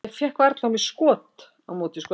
Ég fékk varla á mig skot á móti Skotlandi.